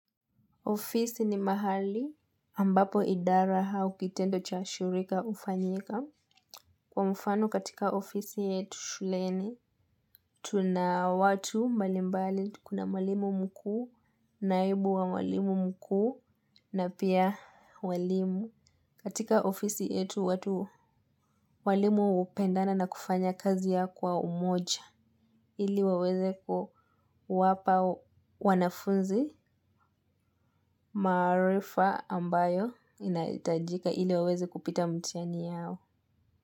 Ofisi ni mahali ambapo idara au kitendo cha shirika hufanyika. Kwa mfano katika ofisi yetu shuleni, tuna watu malimbali, kuna mwalimu mkuu, naibu wa mwalimu mkuu, na pia walimu. Katika ofisi yetu watu walimu hupendana na kufanya kazi yao kwa umoja iliwaweze kuwapa wanafunzi maarifa ambayo inahitajika iliwaweze kupita mtihani yao.